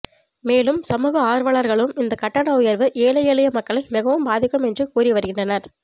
மேலும் சமூக ஆர்வலர்களும் இந்த கட்டண உயர்வு ஏழை எளிய மக்களை மிகவும் பாதிக்கும் என்றும் கூறிவருகின்றனர்